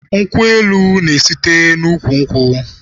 Nkwụ elu na-esite n'úkwù nkwụ.